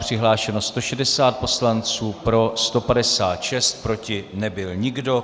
Přihlášeno 160 poslanců, pro 156, proti nebyl nikdo.